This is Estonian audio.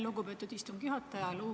Lugupeetud istungi juhataja!